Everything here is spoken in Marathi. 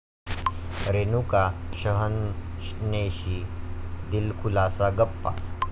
रेणुका शहाणेशी दिलखुलास गप्पा